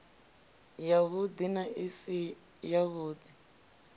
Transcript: yavhudi na i si yavhudi